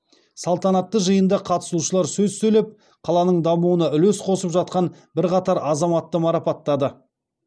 салтанатты жиында қатысушылар сөз сөйлеп қаланың дамуына үлес қосып жатқан бірқатар азаматты марапаттады